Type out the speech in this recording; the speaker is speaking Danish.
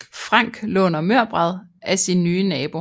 Frank låner mørbrad af sin nye nabo